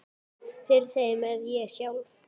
Fyrir þeim er ég sjálf